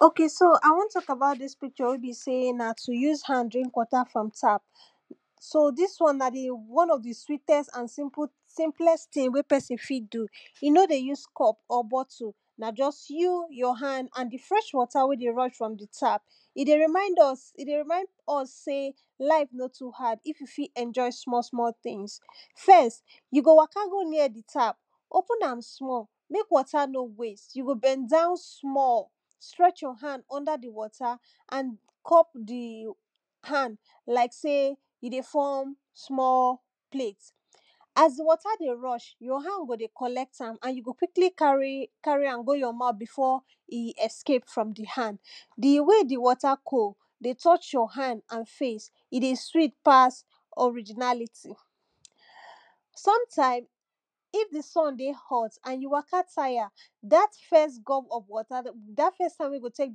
okay so I want talk about dis picture wey be sey na to use hand drink water from tap. so dis one na di one of di sweetest and simple simplest thing wey person fit do, e no dey use cup or bottle. na just you, your hand and di fresh water when dey rush from di tap. e dey remind us e dey remind us sey life life no too hard, if you fit enjoy small small things. first, you go waka go near di tap, open am small make water no waste, you go bend down small stretch your hand under di water and cup the hand like sey you dey form small plate. as di water dey rush your hand go dey collect am and you go quickly carry carry am go your mouth before e escape from di hand di way di water cold dey touch your hand and face e dey sweet pass originality. sometime, if di sun dey hot and you waka tire dat first gug of water dat first one when go take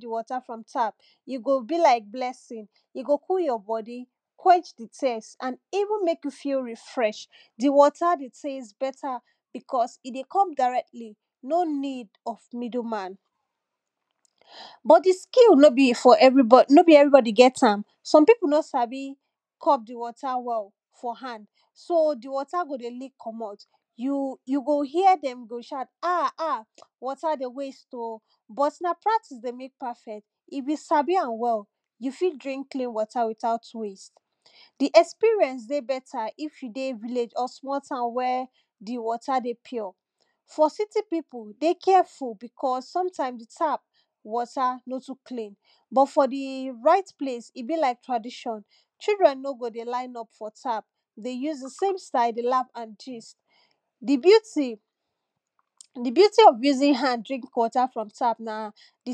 di water from tap. you go be like blessing, e go cool you body. quench di thirst and even make you feel refreshed, di water dey taste better because e dey come directly no need of middle man. but di skill no be for everybody no be everybody get am, some people no sabi cup di water well for hand, so di water go leak komot. you you go here dem go shout ah! ah! water dey waste oh! but na practice dey make perfect, if you sabi am well you fit drink clean water without waste. di experience dey better if you dey village or small town wey di water dey pure, for city people dey careful because sometimes di tap water no too clean, but for di right place e be like tradition. children no go dey line up for tap dey use di same style dey laugh and gist. di beauty di beauty of using hand drink water from tap na di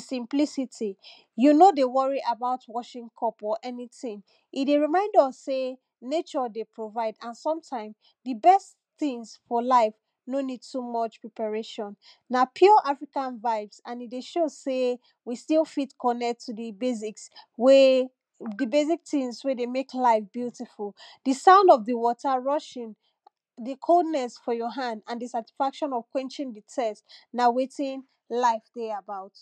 simplicity. you no dey worry about washing cup or anything. e dey remind us sey nature dey provide and sometime di best things for life no need too much preparation. na pure African vibes and e dey show sey, we fit still connect to di basics wey di basic things wey dey make life beautiful. di sound of di water rushing, di coldness for your hand and di satisfaction of quenching di taste, na wetin life dey about.